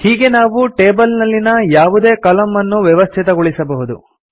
ಹೀಗೆ ನಾವು ಟೇಬಲ್ ನಲ್ಲಿನ ಯಾವುದೇ ಕಲಂ ಅನ್ನು ವ್ಯವಸ್ಥಿತಗೊಳಿಸಬಹುದು